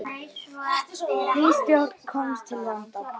Ný stjórn komst til valda.